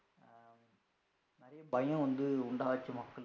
இதே பயம் வந்து உண்டாச்சி மக்களுக்கு